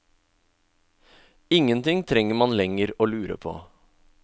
Ingenting trenger man lenger å lure på.